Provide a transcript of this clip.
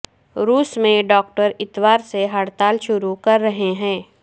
روس میں ڈاکٹر اتوار سے ہڑتال شروع کررہے ہیں